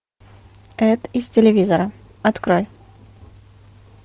эд из телевизора открой